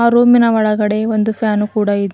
ಆ ರೂಮಿನ ಒಳಗಡೆ ಒಂದು ಫ್ಯಾನ್ ಕೂಡ ಇದ್ --